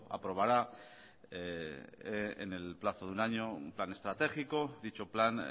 aprobará en el plazo de un año un plan estratégico dicho plan